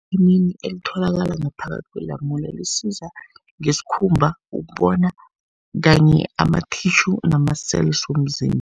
Ivithamini elitholakala ngaphakathi kwelamule lisiza ngesikhumba, ukubona kanye ama-tissue nama-cells womzimba.